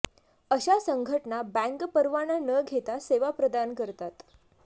अशा संघटना बँक परवाना न घेता सेवा प्रदान करतात